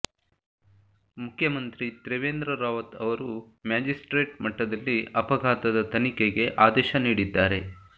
ಮುಖ್ಯಮಂತ್ರಿ ತ್ರಿವೇಂದ್ರ ರಾವತ್ ಅವರು ಮ್ಯಾಜಿಸ್ಟ್ರೇಟ್ ಮಟ್ಟದಲ್ಲಿ ಅಪಘಾತದ ತನಿಖೆಗೆ ಆದೇಶ ನೀಡಿದ್ದಾರೆ